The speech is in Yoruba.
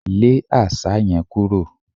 Lé Àṣá yẹn kúrò!